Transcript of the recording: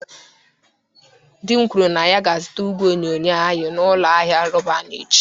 Di m kwuru na ya ga-azụta igwe onyonyo anyị n'ụlọ ahịa Roban echi.